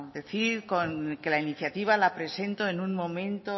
decir con que la iniciativa la presento en un momento